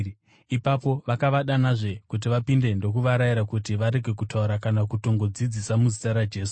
Ipapo vakavadanazve kuti vapinde ndokuvarayira kuti varege kutaura kana kutongodzidzisa muzita raJesu.